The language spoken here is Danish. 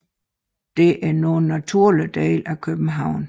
Disse er nu en naturlig del af København